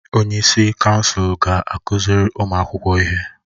Onyeisi kansụl ga-akụziri ụmụ akwụkwọ ihe.